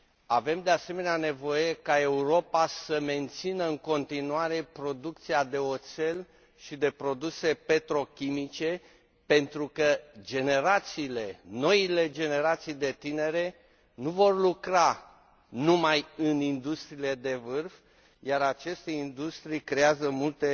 Avem, de asemenea, nevoie ca Europa să mențină în continuare producția de oțel și de produse petrochimice, pentru că generațiile, noile generații de tineri nu vor lucra numai în industriile de vârf, iar aceste industrii creează multe